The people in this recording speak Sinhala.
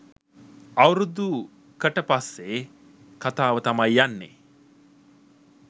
අවුරුදු කට පස්සේ කතාව තමයි යන්නේ